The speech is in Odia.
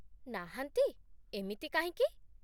ନାହାନ୍ତି, ଏମିତି କାହିଁକି?